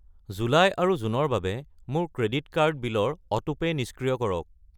July আৰু June ৰ বাবে মোৰ ক্ৰেডিট কাৰ্ড বিলৰ অটোপে' নিষ্ক্ৰিয় কৰক।